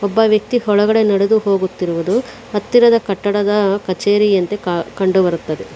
ಒಬ್ಬ ವ್ಯಕ್ತಿ ಒಳಗಡೆ ನಡೆದು ಹೋಗುತ್ತಿರುವುದು ಹತ್ತಿರದ ಕಟ್ಟಡದ ಕಚೇರಿಯಂತೆ ಕಂಡು ಬರುತ್ತದೆ.